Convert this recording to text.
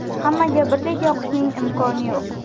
Hammaga birdek yoqishning imkoni yo‘q.